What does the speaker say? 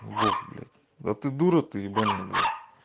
бог блять да ты дура ты ебаная блять